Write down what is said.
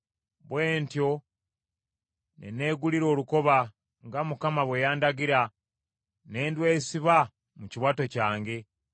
Bwe ntyo ne neegulira olukoba, nga Mukama bwe yandagira, ne ndwesiba mu kiwato kyange.